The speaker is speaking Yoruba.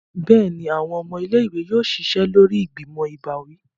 Béèni, awọn ọmọ ilé-ìwé yóò ṣiṣẹ lórí ìgbìmò ìbáwí